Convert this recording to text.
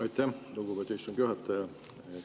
Aitäh, lugupeetud istungi juhataja!